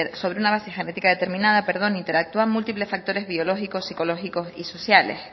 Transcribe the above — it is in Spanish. sobre una base genética determinada interactúan multiplex factores biológicos psicológicos y sociales